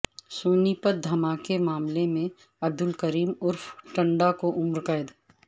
سونی پت دھماکہ معاملے میں عبدالکریم عرف ٹنڈا کو عمر قید